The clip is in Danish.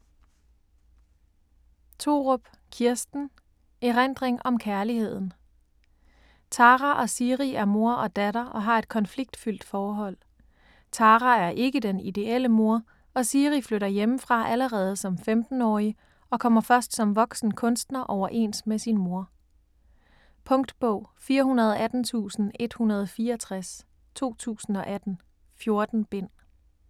Thorup, Kirsten: Erindring om kærligheden Tara og Siri er mor og datter og har et konfliktfyldt forhold. Tara er ikke den ideelle mor, og Siri flytter hjemmefra allerede som 15-årig og kommer først som voksen kunstner overens med sin mor. Punktbog 418164 2018. 14 bind.